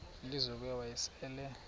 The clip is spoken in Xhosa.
lizo ke wayesel